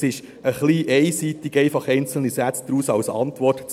Es ist etwas einseitig, einfach einzelne Sätze daraus als Antwort zu nehmen.